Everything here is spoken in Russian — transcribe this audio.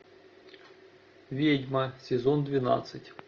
ведьма сезон двенадцать